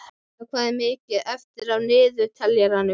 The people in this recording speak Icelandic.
Embla, hvað er mikið eftir af niðurteljaranum?